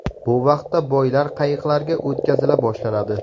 Bu vaqtda boylar qayiqlarga o‘tkazila boshlanadi.